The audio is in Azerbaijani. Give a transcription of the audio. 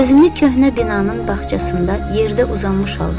Özünü köhnə binanın bağçasında yerdə uzanmış halda gördü.